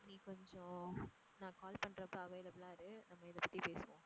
நீ கொஞ்சம் நான் call பண்றப்ப available ஆ இரு நம்ம இதை பத்தி பேசுவோம்.